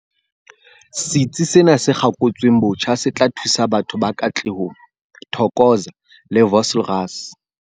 Setsi sena se kgakotsweng botjha se tla thusa batho ba Katlehong, Thokoza le Vosloorus.